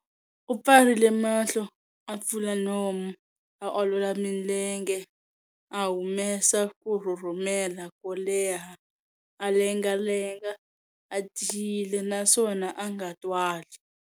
U pfarile mahlo, a pfula nomu, a olola milenge, a humesa ku rhurhumela ko leha, a lengalenga a tiyile naswona a nga twali.